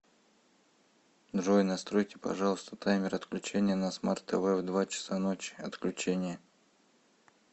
джой настройте пожалуйста таймер отключения на смарт тв в два часа ночи отключение